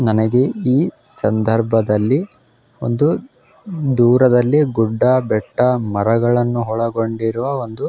ನನಗೆ ಈ ಸಂದರ್ಭದಲ್ಲಿ ಒಂದು ದೂರದಲ್ಲಿ ಗುಡ್ಡ ಬೆಟ್ಟ ಮರಗಳನ್ನು ಹೊಳಗೊಂಡಿರುವ ಒಂದು--